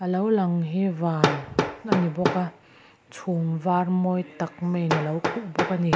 lo lang hi van a ni bawk a chhum var mawi tak maiin a lo khuh bawk a ni.